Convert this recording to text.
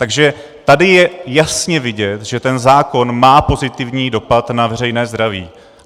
Takže tady je jasně vidět, že ten zákon má pozitivní dopad na veřejné zdraví.